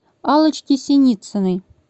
аллочки синицыной